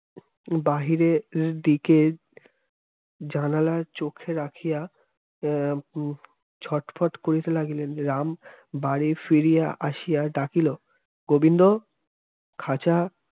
বাহিরে এদিকে জানালার চোখে রাখিয়া এ উম ছটফট করে দিলেন রাম বাড়ি ফিরিয়া আসিয়ার ডাকিল গোবিন্দ খাঁচা